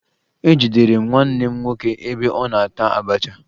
Ejidere m nwanne m nwoke ebe ọ na-ata abacha